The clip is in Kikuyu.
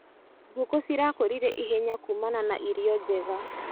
Ngũkũ cirakũrire ihenya kumana na irio njega.